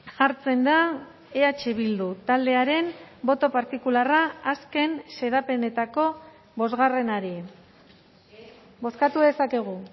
jartzen da eh bildu taldearen boto partikularra azken xedapenetako bosgarrenari bozkatu dezakegu